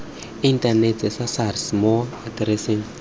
inthanete sa sars mo atereseng